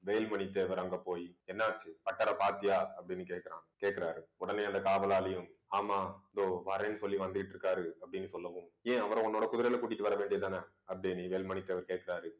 வேல்மணி தேவர் அங்க போயி என்னாச்சு பட்டரை பார்த்தியா அப்பிடின்னு கேட்கிற கேக்குறாரு. உடனே அந்த காவலாளியும், ஆமா இதோ வரேன்னு சொல்லி வந்துகிட்டு இருக்காரு, அப்படின்னு சொல்லவும் ஏன் அவரை உன்னோட குதிரையில கூட்டிட்டு வர வேண்டியதுதானே அப்பிடின்னு வேல்மணி தேவர் கேட்கிறாரு